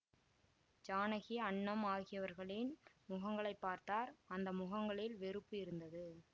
ஜானகி அன்னம் ஆகியவர்களின் முகங்களைப் பார்த்தார் அந்த முகங்களில் வெறுப்பு இருந்தது